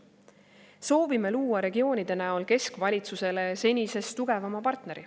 Soovime luua regioonide näol keskvalitsusele senisest tugevama partneri.